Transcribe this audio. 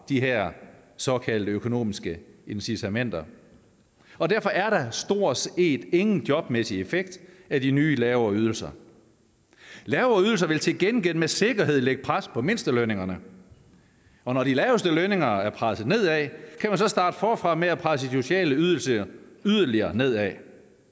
de her såkaldte økonomiske incitamenter derfor er der stort set ingen jobmæssig effekt af de nye lavere ydelser lavere ydelser vil til gengæld med sikkerhed lægge pres på mindstelønningerne og når de laveste lønninger er presset nedad kan man så starte forfra med at presse de sociale ydelser yderligere nedad